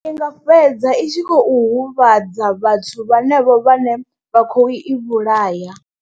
Ndi nga fhedza i tshi khou huvhadza vhathuu vhanevho vhane vha khou i vhulaya.